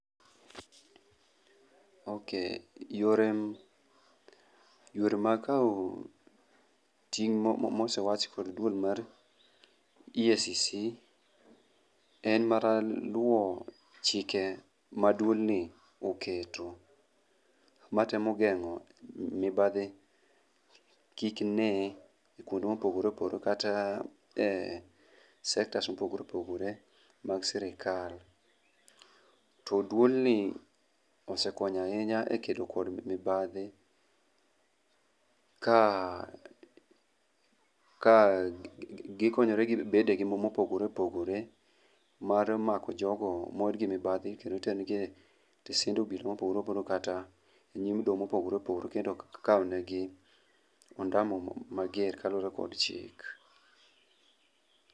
Okay, yore, yore mag kawo ting' mosewachi kod duol mar EACC en mana luwo chike maduol ni oketo. Matemo geng'o mibadhi kik ne kuonde mopogore opogore kata e sektas mopogore opogore mag sirkal. To duol ni osekonyo ahinya e keto kod mibadhi, ka , ka gikonyore gi bede gi mopogore opogore mar mako jogo morgi mibadhi kendo tengie e mopogore opogore kendo kao negi ondama mager kaluwore kod chik.